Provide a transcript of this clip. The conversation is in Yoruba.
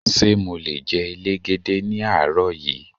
Ṣé mo le jẹ elégède ní àárọ̀ yí?